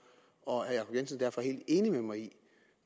og jacob jensen derfor ikke enig med mig